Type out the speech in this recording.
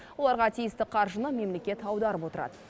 оларға тиісті қаржыны мемлекет аударып отырады